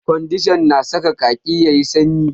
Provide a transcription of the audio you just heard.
Ƙwandishan na saka ƙaki yayi sanyi